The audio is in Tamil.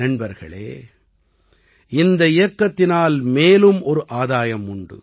நண்பர்களே இந்த இயக்கத்தினால் மேலும் ஒரு ஆதாயம் உண்டு